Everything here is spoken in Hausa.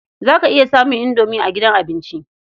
Za ka iya samun indomi a gidan abinci.